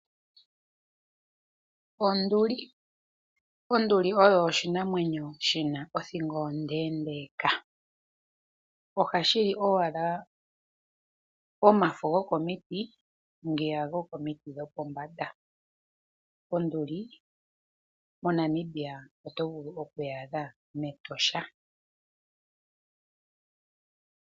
Onduli oyo oshinamwenyo shi na othingo ondeendeeka. Ohashi li owala omafo gokomiti ngono gopombanda. Onduli moNamibia oto vulu oku yi adha mEtosha.